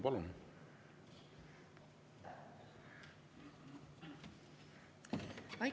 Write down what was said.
Palun!